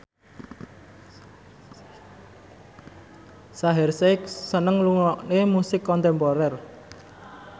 Shaheer Sheikh seneng ngrungokne musik kontemporer